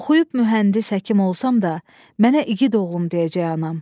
Oxuyub mühəndis, həkim olsam da, mənə igid oğlum deyəcək anam.